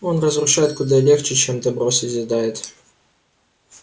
он разрушает куда легче чем добро созидает